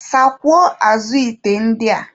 Sakwuo azụ ite ndị a.